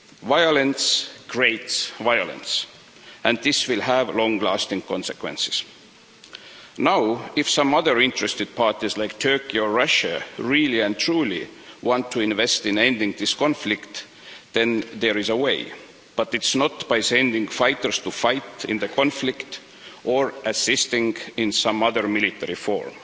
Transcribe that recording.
Violence creates violence and this will have long lasting consequences. If some other interested parties, like Turkey or Russia, really and truly want to invest in ending this conflict, then there is a way, but it's not by sending fighters to fight in the conflict or by assisting in some other military forum.